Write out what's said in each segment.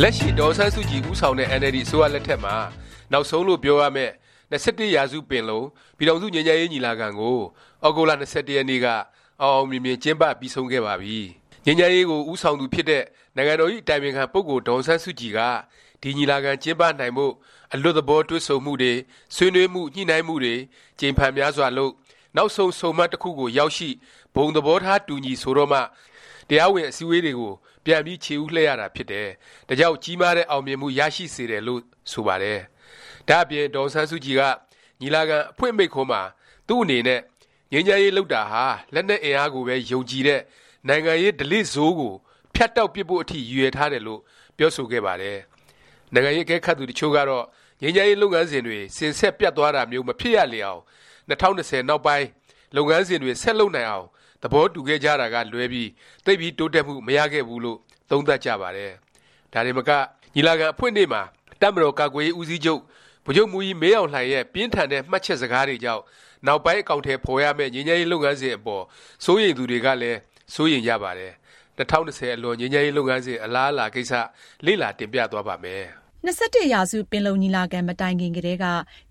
လက်ရှိ ဒေါ်အောင်ဆန်းစုကြည် ဦးဆောင်တဲ့ အင်န်အယ်လ်ဒီ အစိုးရလက်ထက်မှာ နောက်ဆုံးလို့ ပြောရမယ့် (၂၁)ရာစု ပင်လုံ၊ ပြည်ထောင်စု ငြိမ်းချမ်းရေး ညီလာခံ ကို သြဂုတ်လ ၂၁ ရက်နေ့က အောင်အောင်မြင်မြင် ကျင်းပ ပြီးဆုံးခဲ့ပါပြီ။ ငြိမ်းချမ်းရေးကို ဦးဆောင်သူဖြစ်တဲ့ နိုင်ငံတော်ဇ။် အတိုင်ပင်ခံ ပုဂ္ဂိုလ် ဒေါ်အောင်ဆန်းစုကြည်က ဒီညီလာခံ ကျင်းပနိုင်ဖို့ အလွတ်သဘော တွေ့ဆုံမှုတွေ၊ ဆွေးနွေးမှု ညှိနှိုင်းမှုတွေ ကြိမ်ဖန်များစွာလုပ်၊ နောက်ဆုံး ဆုံမှတ်တစ်ခု ရောက်ရှိ၊ ဘုံသဘောထား တူညီဆိုတော့မှ တရားဝင် အစည်းဝေးတွေကို ပြန်ပြီး ခြေဦးလှည့်ရတာဖြစ်တယ်၊ ဒါကြောင့် ကြီးမားတဲ့ အောင်မြင်မှု ရရှိစေတယ်လို့ ဆိုပါတယ်။ ဒါ့အပြင် ဒေါ်အောင်ဆန်းစုကြည်က ညီလာခံ အဖွင့်မိန့်ခွန်းမှာ သူ့အနေနဲ့ ငြိမ်းချမ်းရေး လုပ်တာဟာ လက်နက်အင်အားကိုပဲ ယုံကြည်တဲ့ “ နိုင်ငံရေး ဓလေ့ဆိုး” ကိုဖြတ်တောက်ပစ်ဖို့ အထိ ရည်ရွယ်ထားတယ်လို့ ပြောဆိုခဲ့ပါတယ်။ နိုင်ငံရေး အကဲခတ်သူ တစ်ချို့ကတော့ ငြိမ်းချမ်းရေး လုပ်ငန်းစဉ်တွေ စဉ်ဆက်ပြတ်သွားတာမျိုး မဖြစ်ရလေအောင်၊ ၂၀၂၀ နောက်ပိုင်း လုပ်ငန်းစဉ်တွေ ဆက်လုပ်နိုင်အောင် သဘောတူခဲ့ကြတာကလွဲပြီး သိပ်ပြီး တိုးတက်မှု မရခဲ့ဘူးလို့ သုံးသပ်ကြပါတယ်။ ဒါတင်မက ညီလာခံ အဖွင့်နေ့မှာ တပ်မတော်ကာကွယ်ရေး ဦးစီးချုပ် ဗိုလ်ချုပ်မှူးကြီး မင်းအောင်လှိုင်ရဲ့ ပြင်းထန်တဲ့ မှတ်ချက်စကားတွေကြောင့် နောက်ပိုင်း အကောင်အထည် ဖော်ရမယ့် ငြိမ်းချမ်းရေး လုပ်ငန်းစဉ်အပေါ် စိုးရိမ်သူတွေကလည်း စိုးရိမ်ကြပါတယ်။ ၂၀၂၀ အလွန် ငြိမ်းချမ်းရေး လုပ်ငန်းစဉ် အလားအလာ ကိစ္စ လေ့လာ တင်ပြသွားပါ့မယ်။ ၂၁ ရာစု ပင်လုံညီလာခံ မတိုင်ခင်ကတည်းက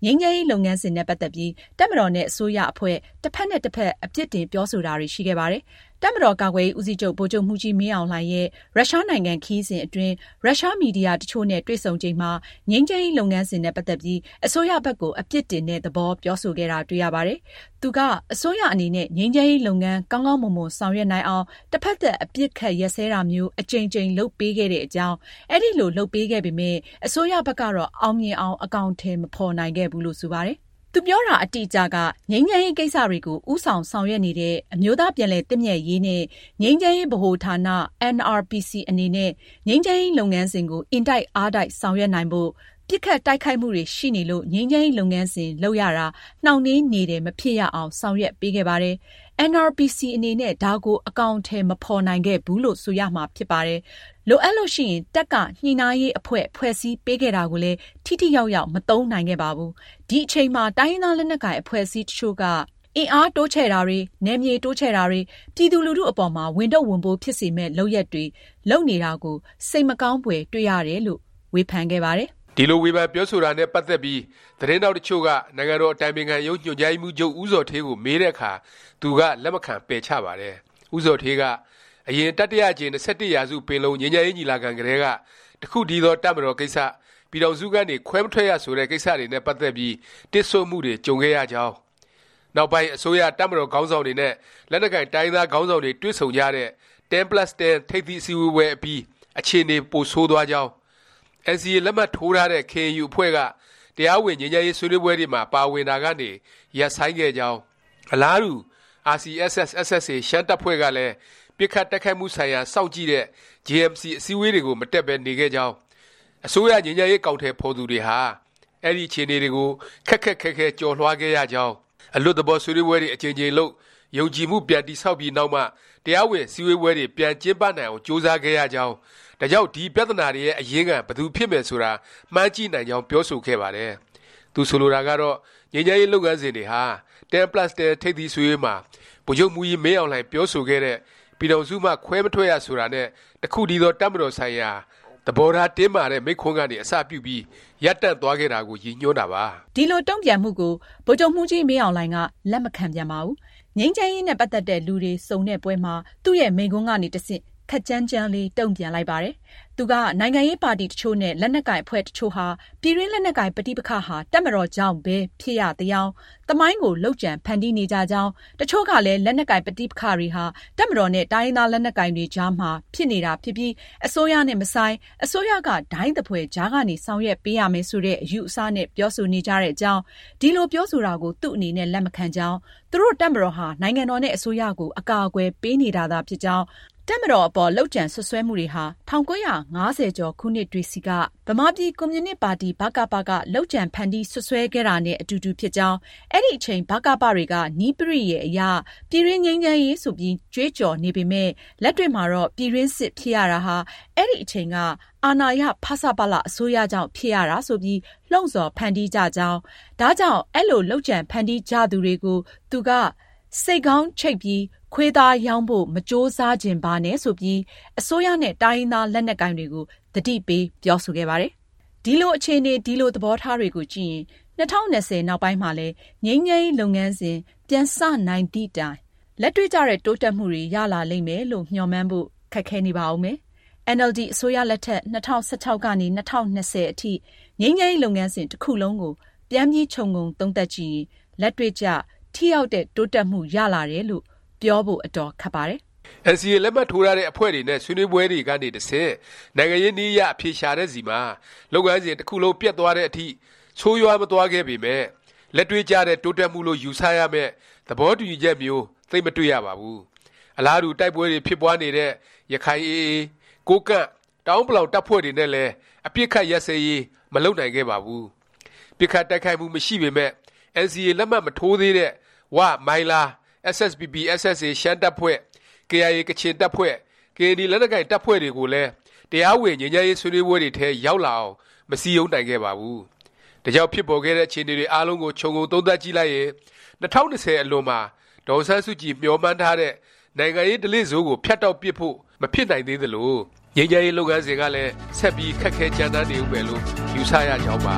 ငြိမ်းချမ်းရေး လုပ်ငန်းစဉ်နဲ့ ပတ်သက်ပြီး တပ်မတော်နဲ့ အစိုးရအဖွဲ့ တစ်ဖက်နဲ့ တစ်ဖက် အပစ်တင် ပြောဆိုတာတွေ ရှိခဲ့ပါတယ်။ တပ်မတော် ကာကွယ်ရေး ဦးစီးချုပ် ဗိုလ်ချုပ်မှူးကြီး မင်းအောင်လှိုင်ရဲ့ ရုရှားနိုင်ငံ ခရီးစဉ်အတွင်း ရုရှားမီဒီယာ တစ်ချို့နဲ့ တွေ့ဆုံချိန်မှာ ငြိမ်းချမ်းရေး လုပ်ငန်းစဉ်နဲ့ ပတ်သက်ပြီး အစိုးရဘက်ကို အပစ်တင်တဲ့ သဘော ပြောဆိုခဲ့တာ တွေ့ရပါတယ်။ သူက အစိုးရအနေနဲ့ ငြိမ်းချမ်းရေး လုပ်ငန်း ကောင်းကောင်းမွန်မွန် ဆောင်ရွက်နိုင်အောင်၊ တစ်ဖက်သတ် အပစ်အခတ် ရပ်စဲတာမျိုး အကြိမ်ကြိမ် လုပ်ပေးခဲ့တဲ့အကြောင်း၊ အဲဒီလို လုပ်ပေးခဲ့ပေမယ့် အစိုးရဘက်ကတော့ အောင်မြင်အောင် အကောင်အထည် မဖော်နိုင်ခဲ့ဘူးလို့ ဆိုပါတယ်။ သူပြောတာ အတိအကျက “ငြိမ်းချမ်းရေးကိစ္စတွေကို ဦးဆောင် ဆောင်ရွက်နေတဲ့ အမျိုးသားပြန်လည်သင့်မြတ်ရေးနှင့် ငြိမ်းချမ်းရေးဗဟို ဌာန (NRPC) အနေနဲ့ ငြိမ်းချမ်းရေး လုပ်ငန်းစဉ်ကို အင်တိုက်အားတိုက် ဆောင်ရွက်နိုင်ဖို့၊ ပစ်ခတ်တိုက်ခိုက်မှုတွေ ရှိနေလို့ ငြိမ်းချမ်းရေးလုပ်ငန်းစဉ် လုပ်ရတာ နှောင့်နှေးနေတယ်မဖြစ်ရအောင် ဆောင်ရွက်ပေးခဲ့ပါတယ်။ NRPC အနေနဲ့ ဒါကို အကောင်အထည်မဖော်နိုင်ခဲ့ဘူးလို့ ဆိုရမှာဖြစ်ပါတယ်။ လိုအပ်လို့ ရှိရင် တပ်က ညှိနှိုင်းရေးအဖွဲ့ ဖွဲ့စည်းပေးခဲ့တာကိုလည်း ထိထိရောက်ရောက် မသုံးနိုင်ခဲ့ပါဘူး။ ဒီအချိန်မှာ တိုင်းရင်းသားလက်နက်ကိုင်အဖွဲ့အစည်းအချို့က အင်အားတိုးချဲ့တာတွေ၊ နယ်မြေတိုးချဲ့တာတွေ၊ ပြည်သူလူထုအပေါ်မှာ ဝန်ထုပ်ဝန်ပိုး ဖြစ်စေမယ့် လုပ်ရပ်တွေ လုပ်နေတာကို စိတ်မကောင်းဖွယ်တွေ့ ရတယ်။” လို့ ဝေဖန်ခဲ့ပါတယ်။ ဒီလို ဝေဖန် ပြောဆိုတာနဲ့ ပတ်သက်ပြီး သတင်းထောက် တစ်ချို့က နိုင်ငံတော် အတိုင်ပင်ခံရုံး ညွှန်ကြားရေးမှူးချုပ် ဦးဇော်ဌေးကို မေးတဲ့အခါ သူက လက်မခံ ပယ်ချပါတယ်။ ဦးဇော်ဌေးက အရင် တတိယအကြိမ်၂၁ ရာစု ပင်လုံ ငြိမ်းချမ်းရေး ညီလာခံ ကတည်းက တစ်ခုတည်းသော တပ်မတော် ကိစ္စ၊ ပြည်ထောင်စုကနေ ခွဲမထွက်ရ ဆိုတဲ့ ကိစ္စတွေနဲ့ ပတ်သက်ပြီး တစ်ဆို့မှုတွေ ကြုံခဲ့ရကြောင်း၊ နောက်ပိုင်း အစိုးရ၊ တပ်မတော် ခေါင်းဆောင်တွေနဲ့ လက်နက်ကိုင် တိုင်းရင်းသား ခေါင်းဆောင်တွေ တွေ့ဆုံကြတဲ့ 10+10 ထိပ်သီး အစည်းအဝေးပွဲအပြီး အခြေအနေတွေ ပိုဆိုးသွားကြောင်း၊ NCA လက်မှတ်ထိုးထားတဲ့ KNU အဖွဲ့က တရားဝင် ငြိမ်းချမ်းရေး ဆွေးနွေးပွဲတွေမှာ ပါဝင်တာကနေ ရပ်ဆိုင်းခဲ့ကြောင်း၊ အလားတူ RCSS/SSA ရှမ်းတပ်ဖွဲ့ကလည်း ပစ်ခတ် တိုက်ခိုက်မှု ဆိုင်ရာ စောင့်ကြည့်တဲ့ JMC အစည်းဝေးတွေကို မတက်ပဲ နေခဲ့ကြောင်း၊ အစိုးရ ငြိမ်းချမ်းရေး အကောင်အထည်ဖော်သူတွေဟာ အဲဒီ အခြေအနေကို ခက်ခက်ခဲခဲ ကျော်လွှားခဲ့ရကြောင်း၊ အလွတ်သဘော ဆွေးနွေးပွဲတွေ အကြိမ်ကြိမ်လုပ်၊ ယုံကြည်မှု ပြန်တည်ဆောက်ပြီး နောက်မှ တရားဝင် အစည်းဝေးပွဲတွေ ပြန်ကျင်းပနိုင်အောင် ကြိုးစားခဲ့ရကြောင်း၊ ဒါကြောင့် ဒီ ပြသနာတွေရဲ့ အရင်းခံ ဘယ်သူဖြစ်မယ် ဆိုတာ မှန်းကြည့်နိုင်ကြောင်း ပြောဆိုခဲ့ပါတယ်။ သူဆိုလိုတာကတော့ ငြိမ်းချမ်းရေး လုပ်ငန်းစဉ်တွေဟာ 10+10 ထိပ်သီးအစည်းဝေးမှာ ဗိုလ်ချုပ်မှူးကြီး မင်းအောင်လှိုင် ပြောဆိုခဲ့တဲ့ “ ပြည်ထောင်စုမှ ခွဲမထွက်ရ” ဆိုတာနဲ့ “ တစ်ခုတည်းသော တပ်မတော်” ဆိုင်ရာ သဘောထား တင်းမာတဲ့ မိန့်ခွန်းကနေ အစပြုပြီး ရပ်တန့်သွားခဲ့တာကို ရည်ညွှန်းတာပါ။ ဒီလို တုန့်ပြန်မှုကို ဗိုလ်ချုပ်မှူးကြီး မင်းအောင်လှိုင်က လက်မခံပြန်ပါဘူး။ ငြိမ်းချမ်းရေးနဲ့ ပတ်သက်တဲ့ လူတွေ စုံတဲ့ပွဲမှာ သူ့ရဲ့ မိန့်ခွန်းကနေ တဆင့် ခပ်ကြမ်းကြမ်းလေး တုန့်ပြန်လိုက်ပါတယ်။ သူက နိုင်ငံရေးပါတီ တစ်ချို့နဲ့ လက်နက်ကိုင် အဖွဲ့တစ်ချို့ဟာ ပြည်တွင်း လက်နက်ကိုင် ပဋိပက္ခဟာ တပ်မတော်ကြောင့်ပဲ ဖြစ်ရသယောင် သမိုင်းကို လုပ်ကြံဖန်တီးနေကြကြောင်း၊ တစ်ချို့ကလည်း လက်နက်ကိုင် ပဋိပက္ခတွေဟာ တပ်မတော်နဲ့ တိုင်းရင်းသား လက်နက်ကိုင်တွေ အကြားမှာ ဖြစ်နေတာ ဖြစ်ပြီး အစိုးရနဲ့ မဆိုင်၊ အစိုးရက ဒိုင်သဖွယ် ကြားကနေ ဆောင်ရွက်ပေးရမယ် ဆိုတဲ့ အယူအဆနဲ့ ပြောဆိုနေကြတဲ့အကြောင်း၊ ဒီလို ပြောဆိုတာကို သူ့အနေနဲ့ လက်မခံကြောင်း၊ သူတို့ တပ်မတော်ဟာ နိုင်ငံတော်နဲ့ အစိုးရကို အကာအကွယ်ပေးနေတာသာ ဖြစ်ကြောင်း၊ တပ်မတော်အပေါ် လုပ်ကြံ စွပ်စွဲမှုတွေဟာ ၁၉၅၀ကျော် ခုနှစ်တွေဆီက ဗမာပြည်ကွန်မြူနစ်ပါတီ ဗကပ က လုပ်ကြံဖန်တီး စွပ်စွဲခဲ့တာနဲ့ အတူတူ ဖြစ်ကြောင်း၊ အဲဒီအချိန် ဗကပ တွေက နည်းပရိယာယ် အရ ပြည်တွင်းငြိမ်းချမ်းရေး ဆိုပြီး ကြွေးကြော်နေပေမယ့် လက်တွေ့မှာတော့ ပြည်တွင်းစစ် ဖြစ်ရတာဟာ အဲဒီ အချိန်က အာဏာရ ဖဆပလ အစိုးရကြောင့် ဖြစ်ရတာ ဆိုပြီး လှုံ့ဆော်ဖန်တီးကြကြောင်း၊ ဒါကြောင့် အဲလို လုပ်ကြံဖန်တီးနေကြသူတွေကို သူက “ ဆိတ်ခေါင်းချိတ်ပြီး ခွေးသားရောင်းဖို့ မကြိုးစားချင်ပါနဲ့” ဆိုပြီး အစိုးရနဲ့ တိုင်းရင်းသား လက်နက်ကိုင်တွေကို သတိပေး ပြောဆိုခဲ့ပါတယ်။ ဒီလိုအခြေအနေ ဒီလို သဘောထားတွေကိုကြည့်ရင် ၂၀၂၀ နောက်ပိုင်းမှာလည်း ငြိမ်းချမ်းရေး လုပ်ငန်းစဉ် ပြန်စနိုင်သည့်တိုင် လက်တွေ့ကျတဲ့ တိုးတက်မှုတွေ ရလာလိမ့်မယ်လို့ မျှော်မှန်းဖို့ ခက်ခဲနေပါဦးမယ်။ အင်န်အယ်လ်ဒီ အစိုးရလက်ထက် ၂၀၁၆ ကနေ ၂၀၂၀ အထိ ငြိမ်းချမ်းရေး လုပ်ငန်းစဉ် တစ်ခုလုံးကို ပြန်ပြီး ခြုံငုံသုံးသပ်ကြည့်ရင် လက်တွေ့ကျ၊ ထိရောက်တဲ့ တိုးတက်မှု ရလာတယ်လို့ ပြောဖို့ အတော်ခက်ပါတယ်။ NCA လက်မှတ်ထိုးထားတဲ့ အဖွဲ့တွေနဲ့ ဆွေးနွေးပွဲတွေကနေ တဆင့် နိုင်ငံရေးနည်းအရ အဖြေရှာတဲ့ဆီမှာ လုပ်ငန်းစဉ် တစ်ခုလုံး ပျက်သွားတဲ့အထိ ဆိုးရွားမသွားခဲ့ပေမယ့် လက်တွေ့ကျတဲ့ တိုးတက်မှုလို့ ယူဆ ရမယ့် သဘောတူညီချက်မျိုး သိပ်မတွေ့ရပါဘူး။ အလားတူ တိုက်ပွဲတွေ ဖြစ်ပွားနေတဲ့ ရခိုင် AA၊ ကိုးကန့်၊ တအာဲန်းပလောင် တပ်ဖွဲ့တွေနဲ့လည်း အပစ်အခတ်ရပ်စဲရေး မလုပ်နိုင်ခဲ့ပါဘူး။ ပစ်ခတ်တိုက်ခိုက်မှု မရှိပေမယ့် NCA လက်မှတ် မထိုးသေးတဲ့ ဝ၊ မိုင်းလား၊ SSPP/SSA ရှမ်းတပ်ဖွဲ့၊ KIA ကချင်တပ်ဖွဲ့၊ ကရင်နီလက်နက်ကိုင် တပ်ဖွဲ့ တွေကိုလည်း တရားဝင် ငြိမ်းချမ်းရေး ဆွေးနွေးပွဲတွေထဲ ရောက်လာအောင် မစည်းရုံးနိုင်ခဲ့ပါဘူး။ ဒါကြောင့် ဖြစ်ပေါ်ခဲ့တဲ့ အခြေအနေတွေ အားလုံးကို ခြုံငုံသုံးသပ်ကြည့်လိုက်ရင် ၂၀၂၀ အလွန်မှာ ဒေါ်အောင်ဆန်းစုကြည် မျှော်မှန်းထားတဲ့ “နိုင်ငံရေးဓလေ့ဆိုး”ကို ဖြတ်တောက်ပစ်ဖို့ မဖြစ်နိုင်သေးသလို၊ ငြိမ်းချမ်းရေး လုပ်ငန်းစဉ်ကလည်း ဆက်ပြီး ခက်ခဲကြမ်းတမ်းနေဦးမယ်လို့ ယူဆရကြောင်းပါ